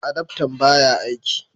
Adaftan baya aiki